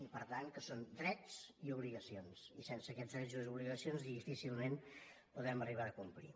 i per tant que són drets i obligacions i sense aquests drets i obligacions difícilment la podrem arribar a complir